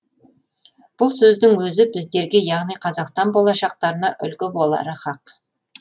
бұл сөздің өзі біздерге яғни қазақстан болашақтарына үлгі болары хақ